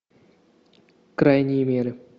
крайние меры